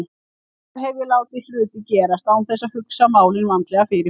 Hvenær hef ég látið hluti gerast án þess að hugsa málin vandlega fyrirfram?